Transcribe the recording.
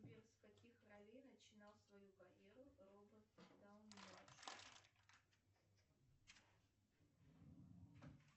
сбер с каких ролей начинал свою карьеру роберт дауни младший